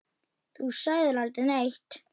Þú sagðir aldrei neitt.